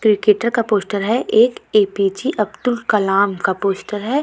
Cricketer का poster है एक आ.बी.ज अब्दुल कलम का पोस्टर है।